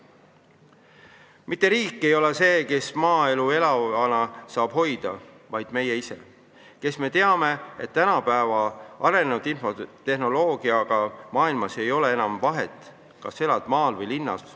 Mitte riik ei ole see, kes maaelu elavana saab hoida, vaid meie ise, kes me teame, et tänapäeva arenenud infotehnoloogiaga maailmas ei ole enam vahet, kas elad maal või linnas.